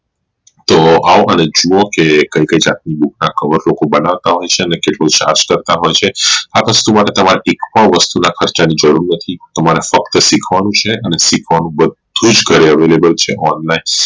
તો આવો અને જુઓ કે કઈ કઈ રીતે book ના cover લોકો બનવતા હશે અને કેટલું charge કરતા હશે આ વસ્તુ માટે તમારે એક પણ વસ્તુ ની ખર્ચ ની જરૂર નથી તમારે ફક્ત શીખવાનું છે અને શીખવાનું બધું જ ઘરે Available છે online